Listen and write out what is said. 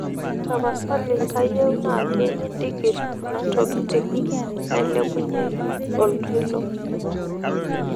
tapasali kayieu naaji nindigirr kanatokiting nailepunye oltoilo